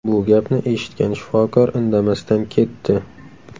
Bu gapni eshitgan shifokor indamasdan ketdi.